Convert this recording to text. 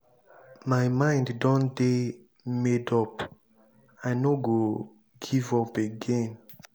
my mind don dey made up. i no go give up again.